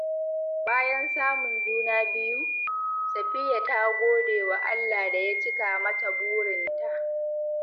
Bayan samun juna biyu, Safiyya ta gode wa Allah da ya cika mata burinta.